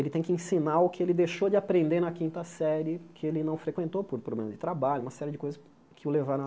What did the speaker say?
Ele tem que ensinar o que ele deixou de aprender na quinta série, que ele não frequentou por problemas de trabalho, uma série de coisas que o levaram a